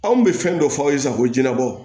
Anw bɛ fɛn dɔ fɔ aw ye sisan ko jɛnɛbɔ